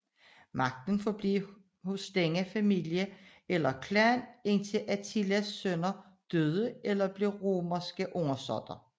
Magten forblev hos denne familie eller klan indtil Attilas sønner døde eller blev romerske undersåtter